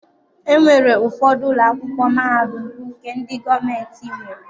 E nwere ụfọdụ ụlọ akwụkwọ mahadum bụ nke ndị gọọmenti nwere.